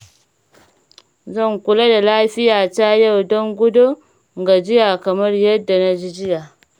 Zan kula da lafiyata yau don gudun gajiya kamar yadda na ji jiya.